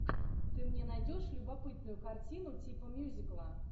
ты мне найдешь любопытную картину типа мюзикла